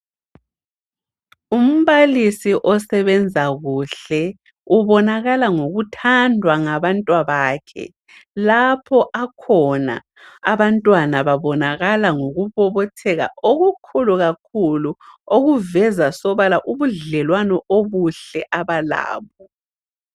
Umbalisi osebenza kuhle ubonakala ngokuthandwa ngabantwabakhe. Lapho akhona, abantwana babonakala ngokubobotheka okukhulu kakhulu okuveza sobala ubudlelwano obuhle abalabo.